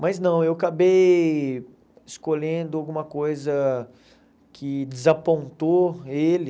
Mas não, eu acabei escolhendo alguma coisa que desapontou ele.